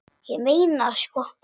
Ég meina það sko.